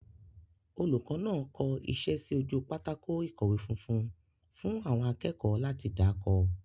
Olùkọ́ náà kọ iṣẹ́ sí ojú pátákó ìkọ̀wé funfun fún àwọn akẹ́kọ̀ọ́ láti dà kọ.